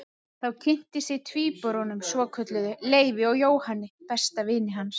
Þá kynntist ég tvíburunum svokölluðu, Leifi og Jóhanni besta vini hans.